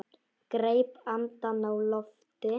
Greip andann á lofti.